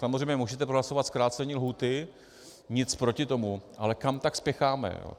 Samozřejmě můžete prohlasovat zkrácení lhůty, nic proti tomu, ale kam tak spěcháme?